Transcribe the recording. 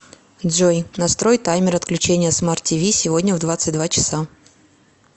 джой настрой таймер отключения смарт тв сегодня в двадцать два часа